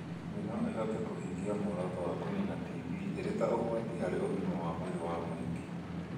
thĩ no ĩhote kũhingia muoroto wa kũniina TB ĩrĩ ta ũgwati harĩ ũgima wa mwĩrĩ wa mũingĩ.